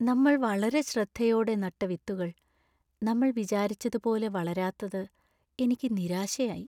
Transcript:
നമ്മൾ വളരെ ശ്രദ്ധയോടെ നട്ട വിത്തുകൾ നമ്മൾ വിചാരിച്ചതുപോലെ വളരാത്തത് എനിക്ക് നിരാശയായി.